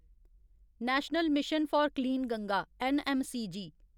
national mission for clean Ganga NMCG